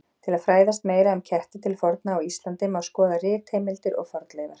Til að fræðast meira um ketti til forna á Íslandi má skoða ritheimildir og fornleifar.